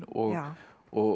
og og